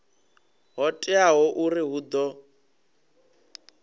ho teaho uri hu ḓo